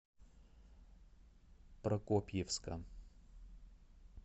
прокопьевска